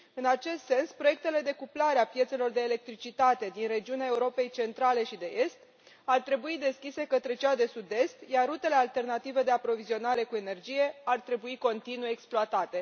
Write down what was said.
În acest sens, proiectele de cuplare a piețelor de electricitate din regiunea Europei Centrale și de Est ar trebui deschise către cea de Sud Est, iar rutele alternative de aprovizionare cu energie ar trebui continuu exploatate.